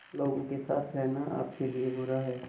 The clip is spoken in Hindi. लोगों के साथ रहना आपके लिए बुरा है